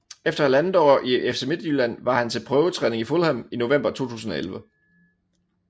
Efter halvandet år i FC Midtjylland var han til prøvetræning i Fulham i november 2011